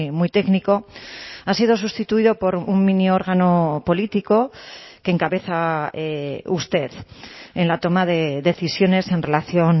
muy técnico ha sido sustituido por un miniórgano político que encabeza usted en la toma de decisiones en relación